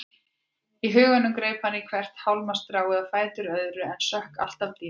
Í huganum greip hann í hvert hálmstráið á fætur öðru en sökk alltaf dýpra.